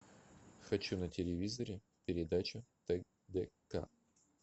хочу на телевизоре передачу тдк